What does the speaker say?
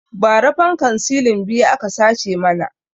Ba ra fankan silin biyu aka sace mana